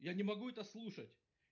я не могу это слушать